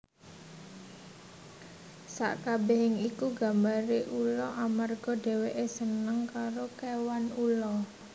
Sakabehing iku gambare ula amarga dheweke seneng karo kewan ula